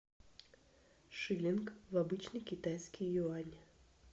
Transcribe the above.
шиллинг в обычный китайский юань